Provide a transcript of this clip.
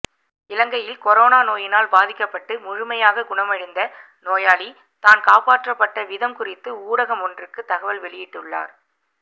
இலங்கையில் கொரோனா நோயினால் பாதிக்கப்பட்டு முழுமையாக குணமடைந்த நோயாளி தான் காப்பாற்றப்பட்ட விதம் குறித்து ஊடகம் ஒன்றுக்கு தகவல் வெளியிட்டுள்ளார்